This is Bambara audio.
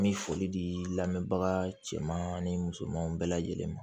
N bɛ foli di lamɛnbaga cɛman ni musoman bɛɛ lajɛlen ma